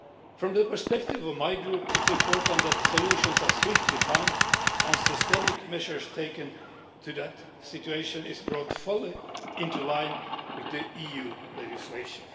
From the perspective of my Group, it is important that solutions are swiftly found and systemic measures taken so that the situation is brought fully into line with EU legislation.